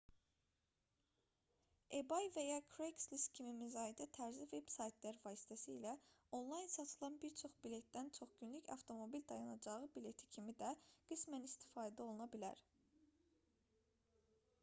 ebay və ya craigslist kimi müzayidə tərzi veb-saytlar vasitəsilə onlayn satılan bir çox biletdən çox-günlük avtomobil dayanacağı bileti kimi də qismən istifadə oluna bilər